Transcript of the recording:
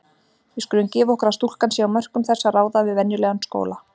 Við skulum gefa okkur að stúlkan sé á mörkum þess að ráða við venjulegan skóla.